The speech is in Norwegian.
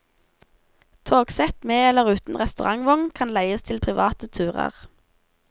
Togsett med eller uten restaurantvogn kan leies til private turer.